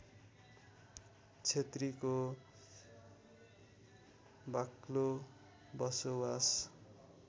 क्षेत्रीको बाक्लो बसोवास